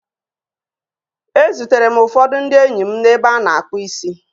E zutere m ụfọdụ ndị enyi m n'ebe a na-akpụ isi